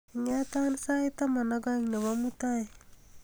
ing'etan sait taman ak oeng'nebo mutai